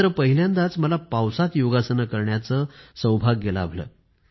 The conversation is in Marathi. आणि पहिल्यांदाच मला पावसात योगासने करण्याचं सौभाग्य लाभलं